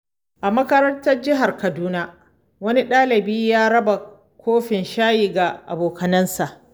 A makarantar Jihar Kaduna, wani dalibi ya raba kofin shayi ga abokansa.